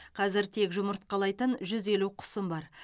қазір тек жұмыртқалайтын жүз елу құсым бар